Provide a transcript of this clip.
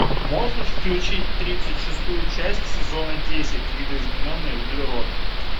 можешь включить тридцать шестую часть сезона десять видоизмененный углерод